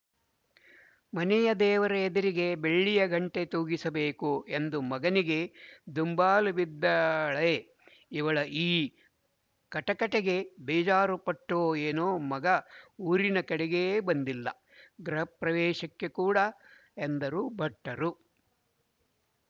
ಮನೆಯ ದೇವರ ಇದಿರಿಗೆ ಬೆಳ್ಳಿಯ ಗಂಟೆ ತೂಗಿಸಬೇಕು ಎಂದು ಮಗನಿಗೆ ದುಂಬಾಲುಬಿದ್ದಾಳೆ ಇವಳ ಈ ಕಟಕಟೆಗೆ ಬೇಜಾರುಪಟ್ಟೊ ಏನೋ ಮಗ ಊರಿನ ಕಡೆಗೇ ಬಂದಿಲ್ಲ ಗೃಹಪ್ರವೇಶಕ್ಕೆ ಕೂಡ ಎಂದರು ಭಟ್ಟರು